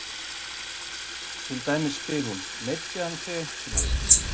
Til dæmis spyr hún: Meiddi hann þig einhvern tíma?